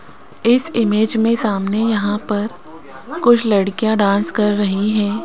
इस इमेज में सामने यहां पर कुछ लड़कियां डांस कर रही हैं।